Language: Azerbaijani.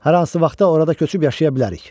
Hər hansı vaxtda orada köçüb yaşaya bilərik.